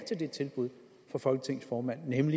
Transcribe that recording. til tilbuddet fra folketingets formand netop